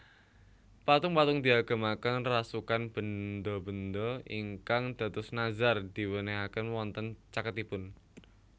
Patung patung diagemaken rasukan benda benda ingkang dados nazar diwenehaken wonten caketipun